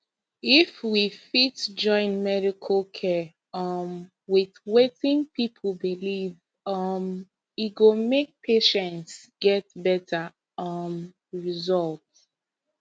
if we fit join medical care um with wetin people believe um e go make patients get better um result